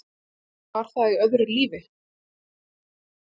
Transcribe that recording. Var það í öðru lífi?